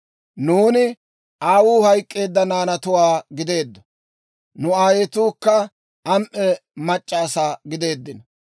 Nuuni aawuu hayk'k'eedda naanatuwaa gideeddo; nu aayetuukka am"e mac'c'a asaa gideeddino.